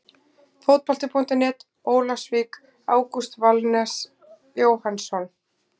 Fótbolti.net, Ólafsvík- Ágúst Valves Jóhannsson.